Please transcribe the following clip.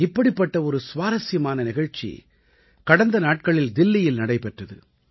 இப்படிப்பட்ட ஒரு சுவாரசியமான நிகழ்ச்சி கடந்த நாட்களில் தில்லியில் நடைபெற்றது